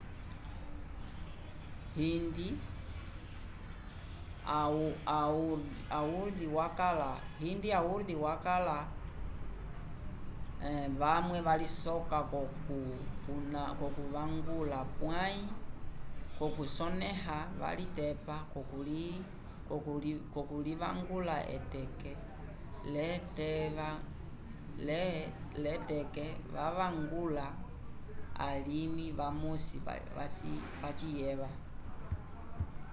hindi a urdu vakala vamwe valisoka ko ku kuvangula pwayi ko kusoneha valitepa ko kulinvangula eteke le tekevavangula alimi vamosi vaciyeva